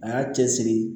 A y'a cɛsiri